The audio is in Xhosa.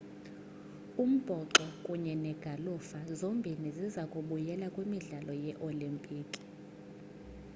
umbhoxo kunye negalufa zombini ziza kubuyela kwimidlalo yee-olimpiki